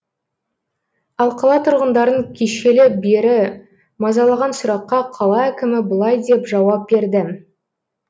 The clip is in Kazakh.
ал қала тұрғындарын кешелі бері мазалаған сұраққа қала әкімі былай деп жауап берді